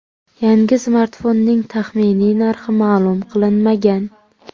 Yangi smartfonning taxminiy narxi ma’lum qilinmagan.